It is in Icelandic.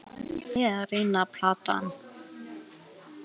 Það var engin leið að reyna að plata hana.